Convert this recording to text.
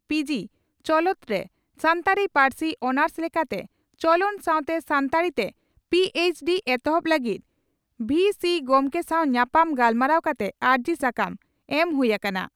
ᱯᱤᱹᱡᱤᱹ ᱪᱚᱞᱚᱱᱨᱮ ᱥᱟᱱᱛᱟᱲᱤ ᱯᱟᱹᱨᱥᱤ ᱚᱱᱟᱨᱥ ᱞᱮᱠᱟᱛᱮ ᱪᱚᱞᱚᱱ ᱥᱟᱣᱛᱮ ᱥᱟᱱᱛᱟᱲᱤ ᱛᱮ ᱯᱤᱹᱮᱪᱹᱰᱤᱹ ᱮᱦᱚᱵ ᱞᱟᱹᱜᱤᱫ ᱵᱷᱤᱹᱥᱤ ᱜᱚᱢᱠᱮ ᱥᱟᱣ ᱧᱟᱯᱟᱢ ᱜᱟᱞᱢᱟᱨᱟᱣ ᱠᱟᱛᱮ ᱟᱹᱨᱡᱤ ᱥᱟᱠᱟᱢ ᱮᱢ ᱦᱩᱭ ᱟᱠᱟᱱᱟ ᱾